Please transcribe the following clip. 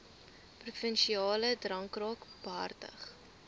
provinsiale drankraad behartig